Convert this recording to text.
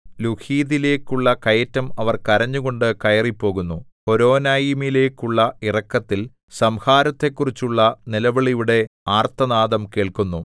ലൂഹീതിലേക്കുള്ള കയറ്റം അവർ കരഞ്ഞുകൊണ്ട് കയറിപ്പോകുന്നു ഹോരോനയീമിലേക്കുള്ള ഇറക്കത്തിൽ സംഹാരത്തെക്കുറിച്ചുള്ള നിലവിളിയുടെ ആർത്തനാദം കേൾക്കുന്നു